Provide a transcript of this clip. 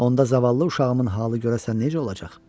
Onda zavallı uşağımın halı görəsən necə olacaq?